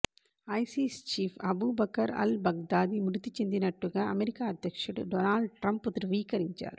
ICs chief Abu Bakr al Baghdadi మృతి చెందినట్టుగా America అధ్యక్షుడు డొనాల్డ్ ట్రంప్ ధృవీకరించారు